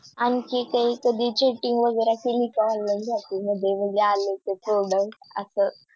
आणखी काही कधी Cheating वैगेरे केली का Online shopping मध्ये कि आलेले ते Product असं